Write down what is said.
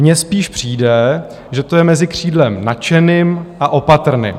Mně spíš přijde, že to je mezi křídlem nadšeným a opatrným.